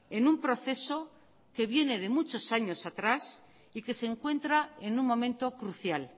en un proceso que viene de muchos años atrás y que se encuentra en un momento crucial